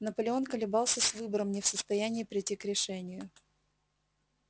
наполеон колебался с выбором не в состоянии прийти к решению